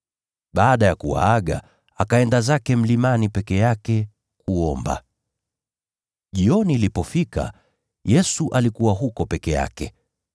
Baada ya kuwaaga, akaenda zake mlimani peke yake kuomba. Jioni ilipofika, Yesu alikuwa huko peke yake.